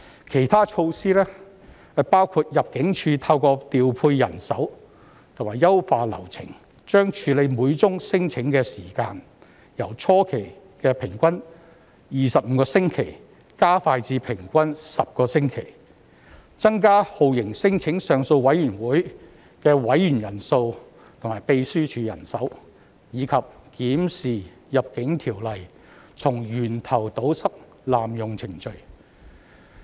其他措施包括：入境處透過調配人手和優化流程，將處理每宗聲請的時間，由初期的平均25星期加快至平均10星期，增加酷刑聲請上訴委員會的委員人數和秘書處人手，以及檢視《入境條例》，從源頭堵塞濫用程序。